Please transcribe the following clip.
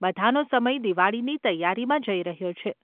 બધાંનો સમય દિવાળીની તૈયારીમાં જઈ રહ્યો છે.